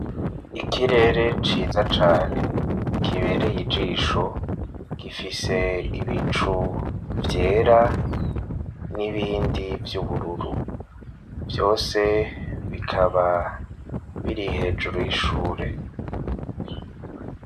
Ikirere ciza cane kibereye ijisho gifise ibicu vyera n'ibindi by'ubururu vyose bikaba biri hejuru y'ishure.